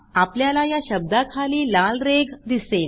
आपल्याला या शब्दाखाली लाल रेघ दिसेल